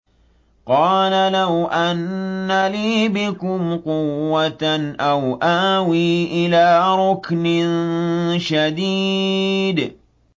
قَالَ لَوْ أَنَّ لِي بِكُمْ قُوَّةً أَوْ آوِي إِلَىٰ رُكْنٍ شَدِيدٍ